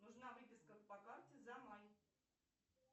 нужна выписка по карте за май